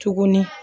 Tuguni